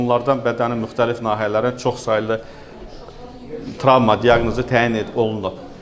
Onlardan bədənin müxtəlif nahiyələrinin çoxsaylı travma diaqnozu təyin olunub.